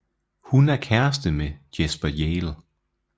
Hun er kæreste med Jasper Hale